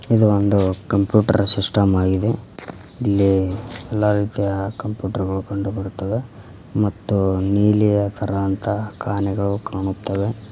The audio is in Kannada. ಇದು ಒಂದು ಕಂಪ್ಯೂಟರ್ ಸಿಸ್ಟಮ್ ಆಗಿದೆ ಇಲ್ಲಿ ಎಲ್ಲಾ ರೀತಿಯ ಕಂಪ್ಯೂಟರ್ ಗಳು ಕಂಡು ಬರುತ್ತವೆ ಮತ್ತು ನೀಲಿಯ ತರಾಂತ ಕಾಣೆಗಳು ಕಾಣುತ್ತವೆ.